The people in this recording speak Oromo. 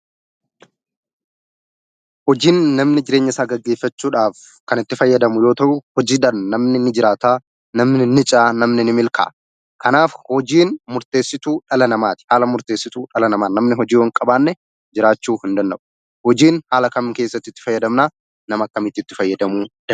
Hojiin namni jireenyasaa gaggeessachuudhaaf kan itti fayyadamu yoo ta'u, hojiidhaan namni ni jiraata, namni ni ce'a, namni ni milkaa'a. Kanaaf hojiin murteessituu dhala namaati. Haala murteessituu namaa. Namni yoo hojii hin qabaanne jiraachuu hin danda'u. Hojiin haala kam keessatti itti fayyadamna? Nama akkamiitu itti fayyadamuu danda'a?